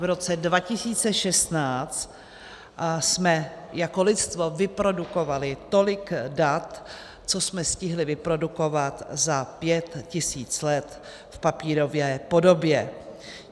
V roce 2016 jsme jako lidstvo vyprodukovali tolik dat, co jsme stihli vyprodukovat za pět tisíc let v papírové podobě.